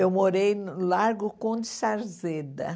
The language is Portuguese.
Eu morei no Largo Conde de Sarzeda.